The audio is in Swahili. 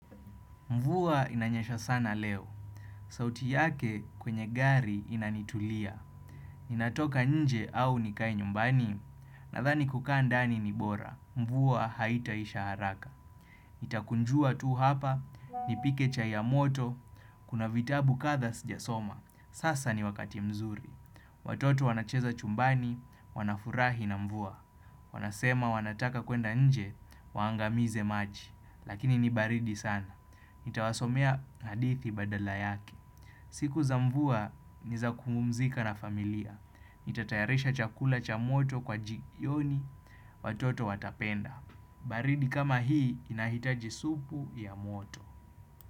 Mvua inanyesha sana leo. Sauti yake kwenye gari inanitulia. Natoka nje au nikae nyumbani? Nadhani kukaa ndani ni bora. Mvua haitaisha haraka. Nitakunjua tu hapa, nipike chai ya moto, kuna vitabu kadhaa sijasoma. Sasa ni wakati mzuri. Watoto wanacheza chumbani, wanafurahi na mvua. Wanasema wanataka kwenda nje, waangamize maji. Lakini ni baridi sana. Nitawasomea hadithi badala yake. Siku za mvua ni za kupumzika na familia. Nitatayarisha chakula cha moto kwa jioni, watoto watapenda. Baridi kama hii inahitaji supu ya moto.